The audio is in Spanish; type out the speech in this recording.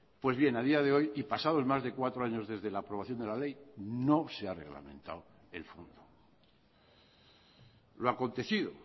pues bien a día de hoy y pasados más de cuatro años desde la aprobación de la ley no se ha reglamentado el fondo lo acontecido